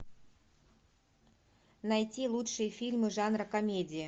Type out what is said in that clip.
найти лучшие фильмы жанра комедия